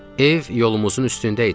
Ev yolumuzun üstündə idi.